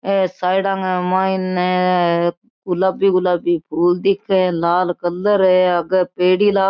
ए साईडा के मायने गुलाबी गुलाबी फूल दिखे है लाल कलर है आगे पेड़ी लाग --